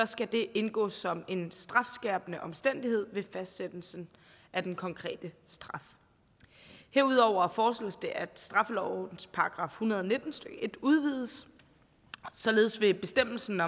skal det indgå som en strafskærpende omstændighed ved fastsættelsen af den konkrete straf herudover foreslås det at straffelovens § en hundrede og nitten stykke en udvides således vil bestemmelsen